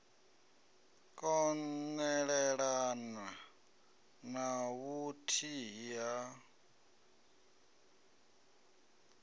kon elelana na vhuthihi ha